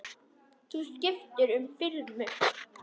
Þú skiptir um filmu!